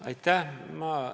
Aitäh!